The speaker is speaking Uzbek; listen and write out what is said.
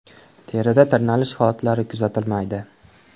Terida tirnalish holatlari kuzatilmaydi.